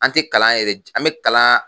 An te kalan yɛrɛ ji an be kalan